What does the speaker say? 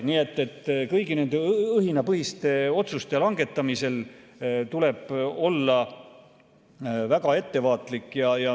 Nii et kõigi nende õhinapõhiste otsuste langetamisel tuleb olla väga ettevaatlik.